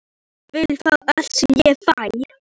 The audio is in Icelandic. Hún vill fá allt sem ég fæ.